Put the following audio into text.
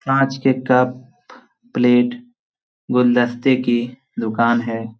कांच के cup plate गुलदस्ते की दुकान है।